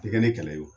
Tɛ kɛ ni kɛlɛ ye